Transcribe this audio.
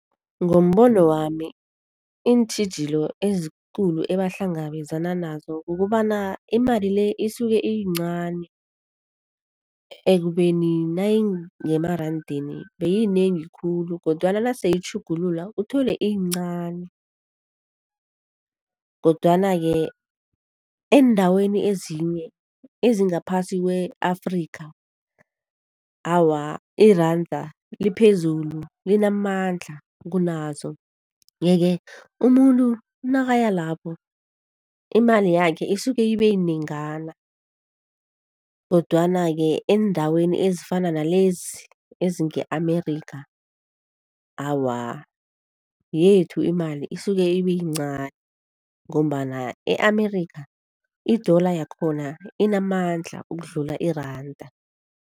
Ngombono wami iintjhijilo ezikulu ebahlangabezana nazo, kukobana imali le isuke iyincani ekubeni nayingemerandeni beyinengi khulu kodwana nase itjhugulula uthole iyincani. Kodwana-ke eendaweni ezinye ezingaphasi kwe-Afrika awa iranda liphezulu, linamandla kunazo. Yeke umuntu nakaya lapho imali yakhe isuke ibeyinengana, kodwana-ke eendaweni ezifana nalezi ezinge-Amerikha, awa yethu imali isuke ibeyincani. Ngombana e-Amerikha i-dollar yakhona inamandla ukudlula iranda.